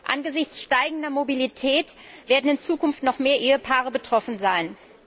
Angesichts steigender Mobilität werden in Zukunft noch mehr Ehepaare betroffen sein.